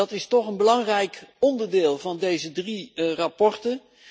Dat is toch een belangrijk onderdeel van deze drie verslagen.